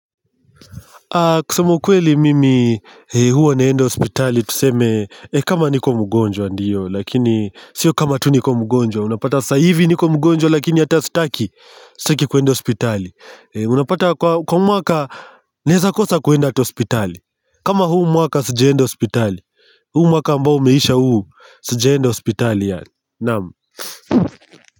Kusema kweli mimi huwa naenda hospitali tuseme kama niko mgonjwa ndiyo Lakini sio kama tu niko mgonjwa unapata saivi niko mgonjwa lakini hata sitaki Sitaki kuenda hospitali Unapata kwa mwaka naeza kosa kuenda ata hospitali kama huu mwaka sijaenda hospitali huu mwaka ambao umeisha huu sija enda hospitali yani Naam.